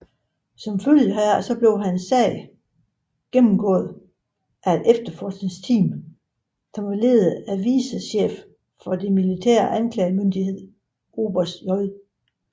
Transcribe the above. Som følge heraf blev hans sag gennemgået af et efterforskningsteam ledet af vicechefen for den militære anklagemyndighed oberst J